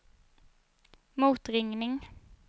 motringning